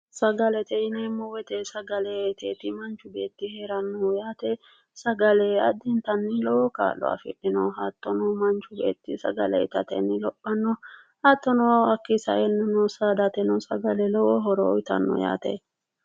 Sagalete yineemmo woyiite, sagale iteeti manchi beetti heerannohu yaate sagale addintanni lowo kaa'lo afidhino hattono manchi beetti sagale itateni lophanno hattono hakkii saeenna saadateno sagale lowo horo uuyiitanno yaate.